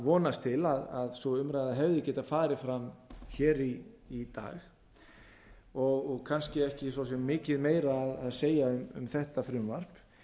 vonast til að sú umræða hefði getað farið fram hér í dag og kannski ekki svo sem mikið meira að segja um þetta frumvarp